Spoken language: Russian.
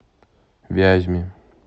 вязьме